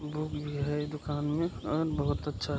book भी है दुकान मे और बहुत अच्छा है |